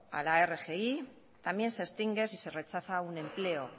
a la rgi también se extingue si se rechaza un empleo